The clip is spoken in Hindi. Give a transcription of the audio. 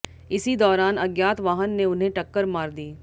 इसी दौरान अज्ञात वाहन ने उन्हें टक्कर मार दी